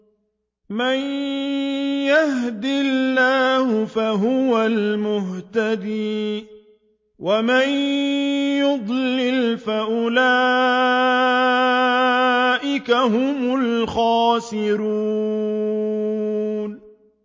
مَن يَهْدِ اللَّهُ فَهُوَ الْمُهْتَدِي ۖ وَمَن يُضْلِلْ فَأُولَٰئِكَ هُمُ الْخَاسِرُونَ